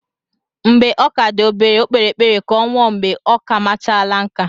Mgbe ọ ka dị obere, Ọ kpere ekpere ka ọ nwụọ mgbe okamachara nkà.